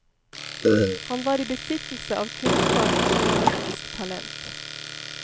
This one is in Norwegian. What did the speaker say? Han var i besittelse av kunnskap og journalistisk talent.